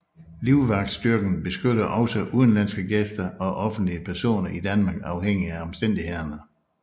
Livvagtsstyrken beskytter også udenlandske gæster og offentlige personer i Danmark afhængig af omstændighederne